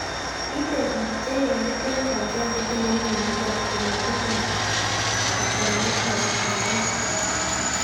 Ite pik che negit 10% chetinye mionitok ko matinye kiptalet ab GLUT1